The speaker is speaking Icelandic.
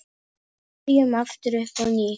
Byrjum aftur upp á nýtt.